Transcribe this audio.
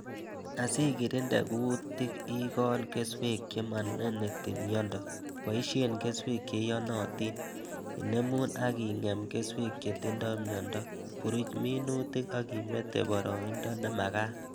Asi kirinde kuutik ikol kesweek che maneneti miendo ,boisie keswek che iyonotin ,inemu ak ingem keswek che tindoi miondo ,buruch minutik ak imete boroindo nemakat